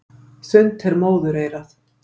Þunnt er móðureyrað.